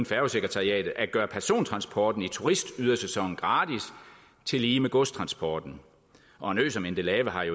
færgesekretariatet at gøre persontransporten i turistydersæsonen gratis tillige med godstransporten og en ø som endelave har i